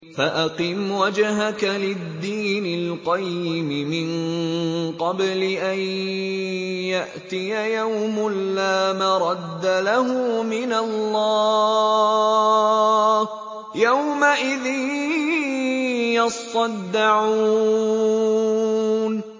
فَأَقِمْ وَجْهَكَ لِلدِّينِ الْقَيِّمِ مِن قَبْلِ أَن يَأْتِيَ يَوْمٌ لَّا مَرَدَّ لَهُ مِنَ اللَّهِ ۖ يَوْمَئِذٍ يَصَّدَّعُونَ